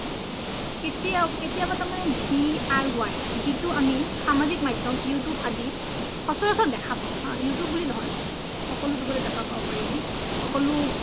কেতিঔ, কেতিঔ মানে D I Y জিতু আমি সমজিক মাধ্যোম you tube আদিত খোচৰ্চৰ দেখা পাও হা you tube বুলি নহই সকলো জাগাত এ দেখা পাবো পাৰু আমি সকলো